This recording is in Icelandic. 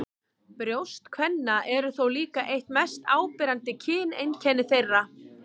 Brjóst kvenna eru þó líka eitt mest áberandi kyneinkenni þeirra.